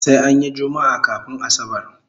Sai anyi jummaa kafun asabar